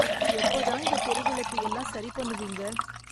எப்ப தான் இந்த தெரு விளக்கு எல்லாம் சரி பண்ணுவீங்க ?